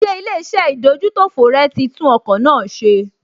Ṣé ilé-iṣẹ́ ìdójútòfò rẹ̀ tí tún ọkọ̀ náà ṣe?